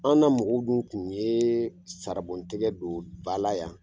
An na mɔgɔw dun kun ye tɛgɛ don bala yan